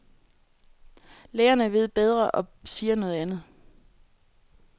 Lægerne ved bedre og siger noget andet.